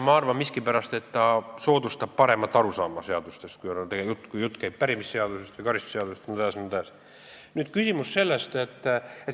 Ma arvan miskipärast, et ta soodustab paremat arusaama seadustest, kui jutt käib pärimisseadustest, karistusseadustest jne.